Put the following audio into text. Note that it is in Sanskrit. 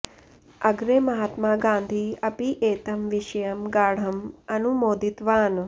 अग्रे महात्मा गान्धी अपि एतं विषयं गाढम् अनुमोदितवान्